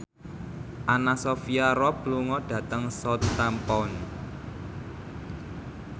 Anna Sophia Robb lunga dhateng Southampton